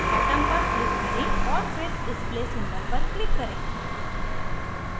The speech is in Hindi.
atom पर click करें और फिर display symbol पर click करें